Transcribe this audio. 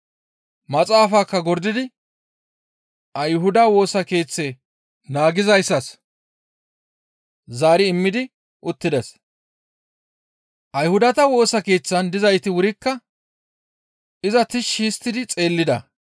Maxaafaakka gordidi Ayhuda Woosa Keeththe naagizayssas zaari immidi uttides. Ayhudata Woosa Keeththan dizayti wurikka iza tishshi histti xeellida.